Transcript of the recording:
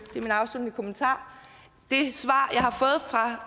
er min afsluttende kommentar det svar